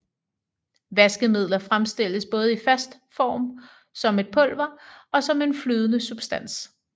Vaskemidler fremstilles både i fast form som et pulver og som en flydende substans